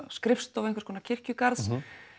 skrifstofu einhvers konar kirkjugarðs